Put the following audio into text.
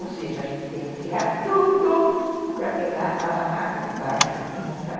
Ou seja, a gente teve que tirar tudo para pegar a barraca de baixo e montar.